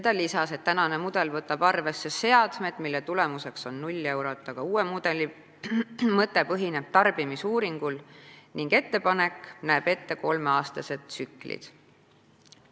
Ta lisas, et praegune mudel võtab arvesse seadmed, mis annavad tulemuseks 0 eurot, aga uus mudel põhineb tarbimisuuringul ning ettepanek näeb ette kolmeaastased tsüklid.